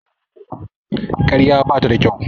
Ƙarya bata da kyau.